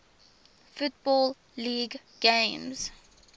football league games